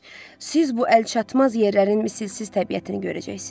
Siz bu əlçatmaz yerlərin misilsiz təbiətini görəcəksiniz.